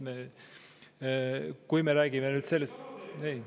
Kui me räägime nüüd …